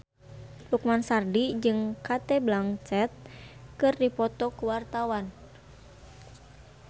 Lukman Sardi jeung Cate Blanchett keur dipoto ku wartawan